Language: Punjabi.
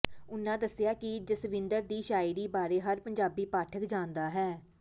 ਉਨ੍ਹਾਂ ਦੱਸਿਆ ਕਿ ਜਸਵਿੰਦਰ ਦੀ ਸ਼ਾਇਰੀ ਬਾਰੇ ਹਰ ਪੰਜਾਬੀ ਪਾਠਕ ਜਾਣਦਾ ਹੈ